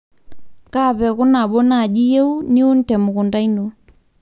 kaa peku nabo naaji iyieu niun te mukunta ino